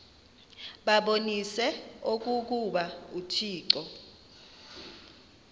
babonise okokuba uthixo